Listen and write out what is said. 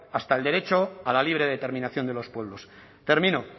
hasta el derecho a la libre determinación de los pueblos termino